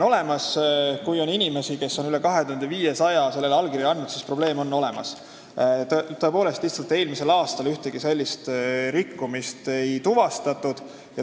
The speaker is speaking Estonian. Kui üle 2500 inimese on allkirja andnud, siis probleem on olemas, tõepoolest, lihtsalt eelmisel aastal ühtegi sellist rikkumist ei tuvastatud.